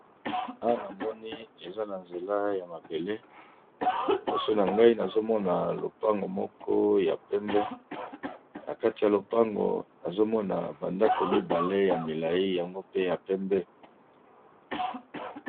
Awa namoni eza na nzela ya mabele liboso na ngai nazomona lopango moko ya pembe na kati ya lopango nazomona bandako mibale ya molayi yango pe ya pembe.